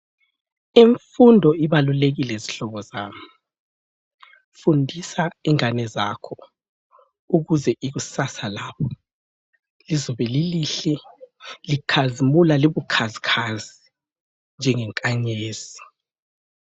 Imfundo ibalulekile zihlobo zami fundisa ingane zakho ukuze ikusasa labo lizobe lilihle likhazimula libukhazikhazi njenge nkanyezi.